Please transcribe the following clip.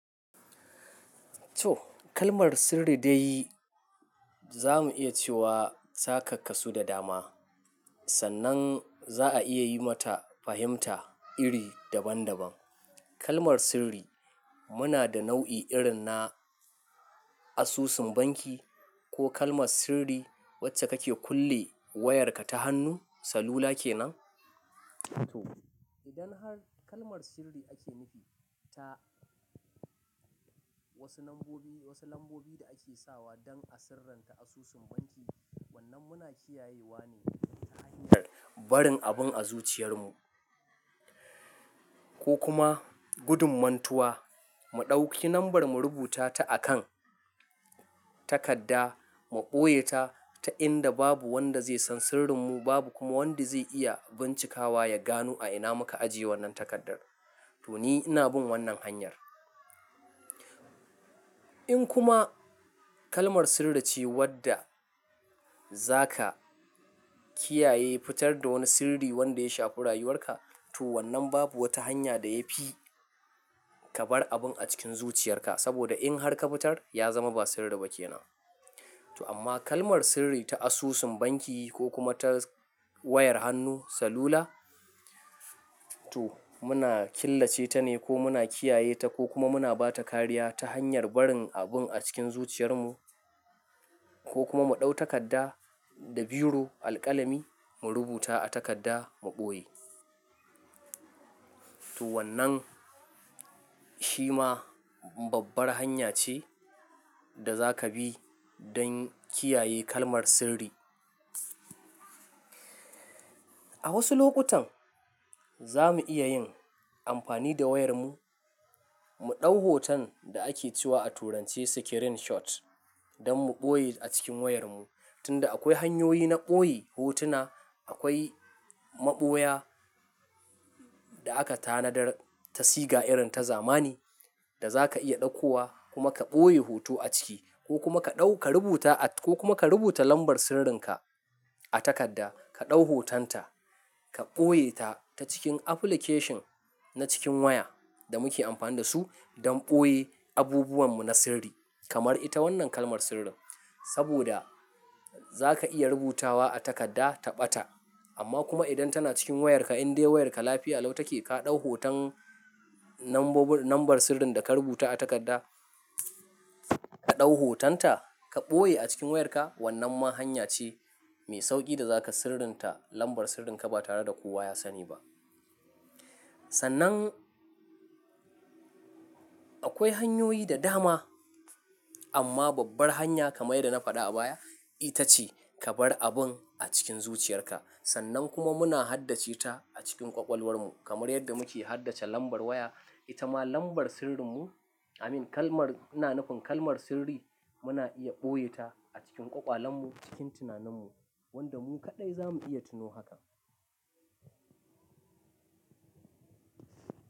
To kalmar sirri dai za mu iya cewa ta ka kasu da dama. Sannan za a iya yi mata fahimta iri daban daban. Kalmar sirri muna da nau'i irin na asusun banki ko kalmar sirri wacce kake kulle wayarka ta hannu salula kenan. To idan har kalmar sirri ake nufi ta wasu lambobi, wasu lambobi da ake sawa don a sirranta asusun banki wannan muna kiyayewa ne ta hanyar barin abun a zuciyar mu ko kuma gudun mantuwa. Mu ɗauki lambar mu rubuta ta a kan takadda mu ɓoye ta, ta inda babu wanda zai san sirrin mu, babu kuma wanda zai iya bincikawa ya gano a ina muka ajiye wannan takardar. To ni ina bin wannan hanyar. In kuma kalmar sirri ce wadda zaka kiyaye fitar da wani sirri wanda ya shafi rayuwar ka to wannan babu wata hanya da yafi ka bar abun a cikin zuciyar ka. Saboda in har ka fitar ya zama ba sirri ba kenan. To amma kalmar sirri ta asusun banki ko kuma ta wayar hannu salula, to muna killace ta ne ko muna kiyaye ta ko kuma muna bata kariya ta hanyar barin abun a cikin zuciyar mu ko kuma mu ɗau takadda da biro alƙalami mu rubuta a takadda mu ɓoye. To wannan shi ma babbar hanya ce da zaka bi don kiyaye kalmar sirri. A wasu lokutan za mu iya yin amfani da wayar mu, mu ɗau hoton da ake cewa a turance screenshot don mu ɓoye a cikin wayar mu. Tunda akwai hanyoyi na ɓoye hotuna, akwai maɓoya da aka tanadar ta siga irin ta zamani da za ka iya ɗaukowa kuma ka ɓoye hoto a ciki ko kuma ka ɗau ka rubuta at-- ko kuma ka rubuta lambar sirrin ka a takadda ka ɗau hoton ta ka ɓoye ta ta cikin application na cikin waya da muke amfani da su don ɓoye abubuwan mu na sirri kamar ita wannan kalmar sirrin. Saboda za ka iya rubutawa a takadda ta ɓata amma kuma idan tana cikin wayarka in dai wayarka lafiya lau take, ka ɗau hoton lambobi-- lambar sirrin da ka rubuta a takadda, ka ɗau hoton ta ka ɓoye a cikin wayarka wannan ma hanya ce mai sauƙi da zaka sirrinta lambar sirrin ka ba tare da kowa ya sani ba. Sannan akwai hanyoyi da dama amma babbar hanya kamar dai da na faɗa a baya ita ce ka bar abun a cikin zuciyar ka. Sannan kuma muna haddace ta a cikin ƙwaƙwalwar mu kamar yadda muke haddace lambar waya. Ita ma lambar sirrin mu, I mean kalmar, muna nufin kalmar sirri muna iya ɓoye ta a cikin ƙwaƙwalwan mu cikin tunanin mu wanda mu kaɗai za mu iya tuno haka.